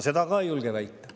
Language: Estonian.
Seda ma ka ei julge väita.